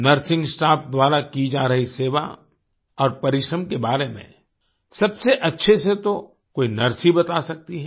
nursing staff द्वारा की जा रही सेवा और परिश्रम के बारे में सबसे अच्छे से तो कोई नर्स ही बता सकती है